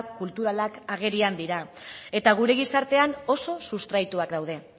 kulturalak agerian dira eta gure gizartean oso sustraituak daude